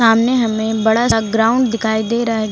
सामने हमें बड़ा सा ग्राउंड दिखाई दे रहा है।